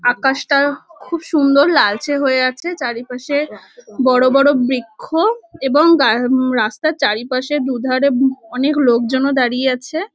আকাশটা খুব সুন্দর লালচে হয়ে আছে চারিপাশে বড় বড় বৃক্ষ এবং গা ঊম রাস্তার চারিপাশে দুধারে অনেক লোকজনও দাঁড়িয়ে আছে।